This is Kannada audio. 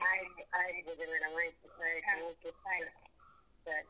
ಆಯ್ತು ಆಯ್ತು ಪೂಜ madam ಆಯ್ತು ಆಯ್ತು okay ಸರಿ.